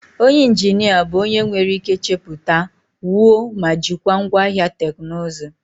Onye injinia bụ onye nwere ike chepụta, wuo ma jikwaa ngwaahịa teknụzụ.